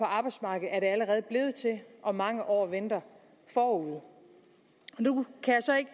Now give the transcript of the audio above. arbejdsmarkedet er det allerede blevet til og mange år venter forude nu kan jeg så ikke